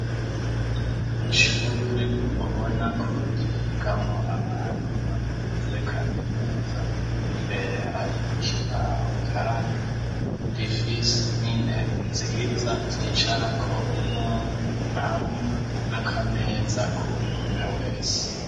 Ishure ubonako ryigamwo abantu bakuze kaminuza, imbere hari ikibaho kandi rifise n'intebe nziza zicarako umwumwe hamwe n'akameza k'umwumwe wese